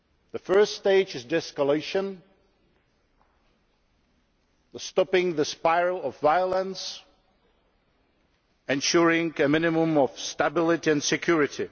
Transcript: The first stage is de escalation stopping the spiral of violence and ensuring a minimum of stability and security.